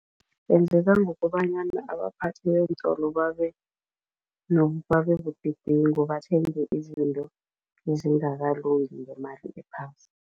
Benzeka ngokobanyana abaphathi beentolo babebudedengu, bathenge izinto ezingakalungi ngemali ephasi.